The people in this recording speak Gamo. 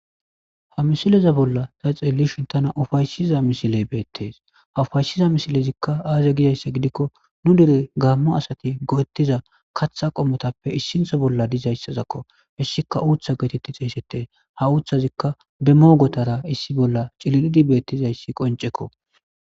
Ha misileza bolla ta xeellishin tana ufaysiza misiley beettees ha ufaysiza misilezikka aaze gizayssa gidikko nu dire gaammo asati goettiza katha qomotappe issintho bolla dizayssazakko hissika uutha geetetti xeeysete ha uuththazikka be moogotara issi bolla c'ililidi beettizayssi qonc'ekko.